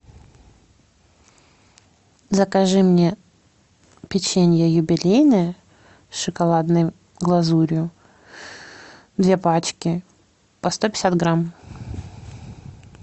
закажи мне печенье юбилейное с шоколадной глазурью две пачки по сто пятьдесят грамм